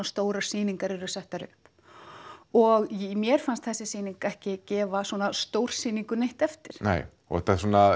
stórar sýningar eru settar upp og mér fannst þessi sýning ekki gefa svona stórsýningu neitt eftir nei og þetta svona